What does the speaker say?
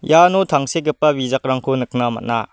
iano tangsekgipa bijakrangko nikna man·a.